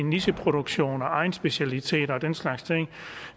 nicheproduktion og egnsspecialiteter og den slags ting